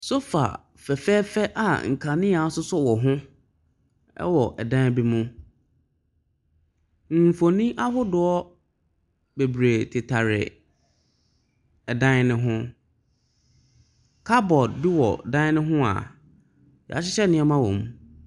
Sofa fɛɛfɛɛfɛ a nkanea asosɔ wɔ ho wɔ ɛdan bi mu. Mfonin ahodoɔ bebiree tetare ɛdan no ho. Cupboard bi wɔ dan no ho a yɛahyehyɛ nneɛma wom.